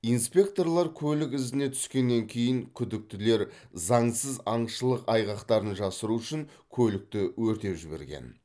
инспекторлар көлік ізіне түскеннен кейін күдіктілер заңсыз аңшылық айғақтарын жасыру үшін көлікті өртеп жіберген